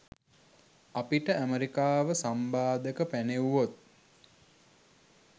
අපිට ඇමරිකාව සම්බාධක පැනෙව්වොත්